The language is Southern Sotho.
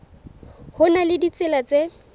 ho na le ditsela tse